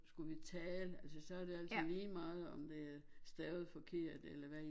Skulle vi tale altså så er det altså lige meget om det er stavet forkert eller hvad